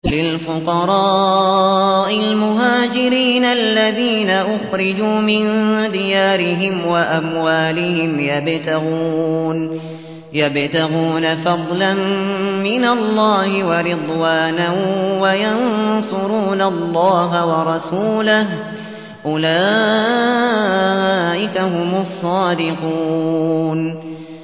لِلْفُقَرَاءِ الْمُهَاجِرِينَ الَّذِينَ أُخْرِجُوا مِن دِيَارِهِمْ وَأَمْوَالِهِمْ يَبْتَغُونَ فَضْلًا مِّنَ اللَّهِ وَرِضْوَانًا وَيَنصُرُونَ اللَّهَ وَرَسُولَهُ ۚ أُولَٰئِكَ هُمُ الصَّادِقُونَ